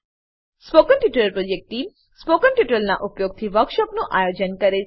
spoken tutorial project team spoken ટ્યુટોરીયલોનાં ઉપયોગથી વર્કશોપોનું આયોજન કરે છે